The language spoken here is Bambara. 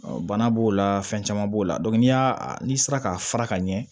bana b'o la fɛn caman b'o la n'i y'a n'i sera k'a fara ka ɲɛ